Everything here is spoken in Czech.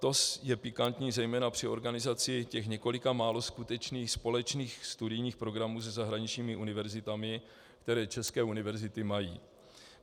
To je pikantní zejména při organizaci těch několika málo skutečných společných studijních programů se zahraničními univerzitami, které české univerzity mají.